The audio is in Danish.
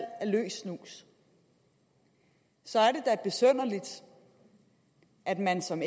af løs snus så er det da besynderligt at man som